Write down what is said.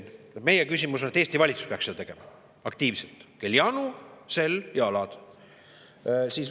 Meie oli, et Eesti valitsus peaks seda tegema aktiivselt, et kel janu, sel jalad.